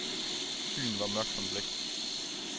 Byen var mørk som blæk.